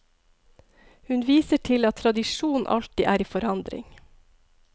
Hun viser til at tradisjon alltid er i forandring.